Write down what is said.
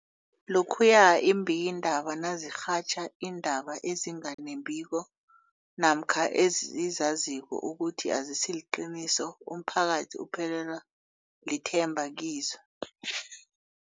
Lokhuya iimbikiindaba nazirhatjha iindaba ezinga nembiko namkha ezizaziko ukuthi azisiliqiniso, umphakathi uphelelwa lithemba kizo.